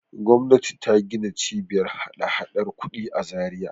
Gwamnati ta gina Cibiyar hadahadar kuɗi a Zariya.